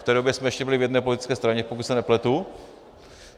V té době jsme ještě byli v jedné politické straně, pokud se nepletu.